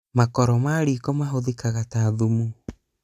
makoro ma rĩko mahũthĩkaga ta thumu